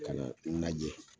Ka na n najɛ